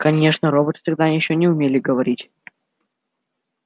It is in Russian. конечно роботы тогда ещё не умели говорить